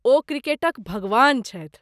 ओ 'क्रिकेटक भगवान' छथि।